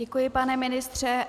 Děkuji, pane ministře.